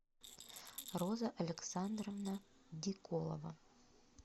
роза александровна диколова